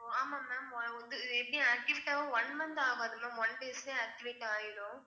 ஆமா ma'am அது வந்து எப்படி activate ஆக one month ஆகாது ma'am one days லயே activate ஆயிடும்